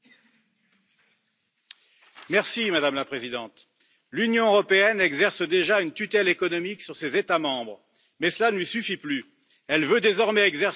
Madame la Présidente, l'Union européenne exerce déjà une tutelle économique sur ses États membres, mais cela ne lui suffit plus, elle veut désormais exercer aussi sur eux une tutelle idéologique.